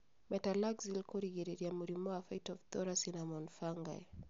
Metalaxyl kũgirĩrĩra mũrimũ wa Phytophthora cinnamon fungi